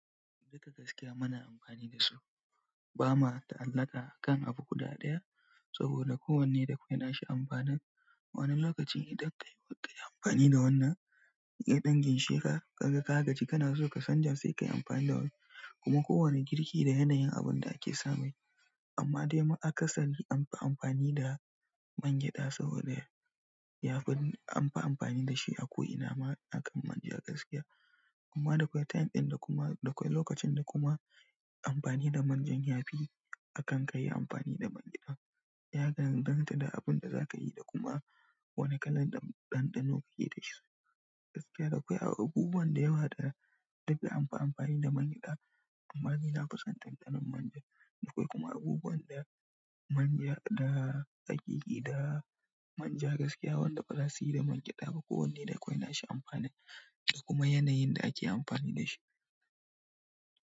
Duka gaskiya mana amfani da shi. Ba ma da alaƙa kan abu guda ɗaya saboda kowanne dakwau na shi amfanin. Wani lokaci idan kayi amfani da wannan kaga ka gaji sai ka ɗan chanja kayi amfani da wannan kuma kowanne girki da yanayin abin da ake samai, amma dai a kasari an fi amfani da man gyaɗa saboda yafi an fi amfani da shi akan manja gaskiya amma dakwai time ɗin da kuma dakwai lokacin da kuma amfani da manjan yafi akan ka yi amfani da man gyaɗa. Ya ga danganta da abin da za ka yi da kuma wane kalar ɗanɗano ka yi da shi. Gaskiya da kwai akwai abubuwan da yawa da duka anfi amfani da man gyaɗa amma ni na fi son ɗanɗanon manja. Da kwai kuma abubuwan da manja da tsakaki da manja gaskiya, wanda ba za suyi da man gyada ba kowanne da kawai na shi amfani da kuma yanayin da ake amfani da shi.